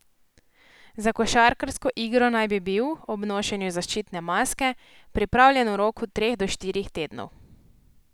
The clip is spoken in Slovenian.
Za košarkarsko igro naj bi bil, ob nošenju zaščitne maske, pripravljen v roku treh do štirih tednov.